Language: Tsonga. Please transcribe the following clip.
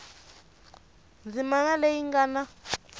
ndzimana leyi yi nga na